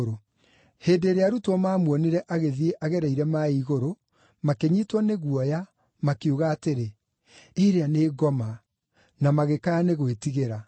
Hĩndĩ ĩrĩa arutwo maamuonire agĩthiĩ agereire maaĩ igũrũ, makĩnyiitwo nĩ guoya, makiuga atĩrĩ, “Ĩrĩa nĩ ngoma,” na magĩkaya nĩ gwĩtigĩra.